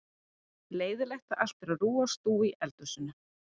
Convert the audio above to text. Leiðinlegt þegar allt er á rúi og stúi í eldhúsinu.